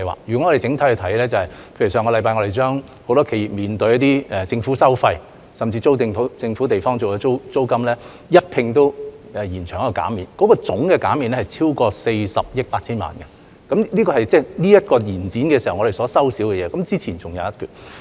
若從整體來看，例如我們上星期對許多企業所面對的政府收費、甚至租用政府處所的租金，一併延長減免期，總減免額超過40億 8,000 萬元，這是這個延展期我們所少收的，之前還有一筆。